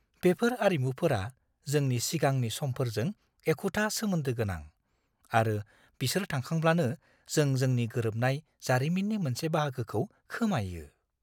बेफोर आरिमुफोरा जोंनि सिगांनि समफोरजों एखुथा सोमोन्दो गोनां, आरो बिसोर थांखांब्लानो जों जोंनि गोरोबनाय जारिमिननि मोनसे बाहागोखौ खोमायो।